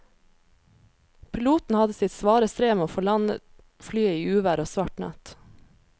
Piloten hadde sitt svare strev med å få landet flyet i uvær og svart natt.